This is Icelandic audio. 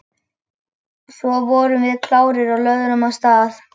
Svo vorum við klárir og lögðum af stað.